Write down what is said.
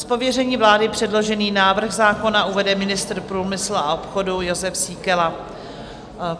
Z pověření vlády předložený návrh zákona uvede ministr průmyslu a obchodu Jozef Síkela.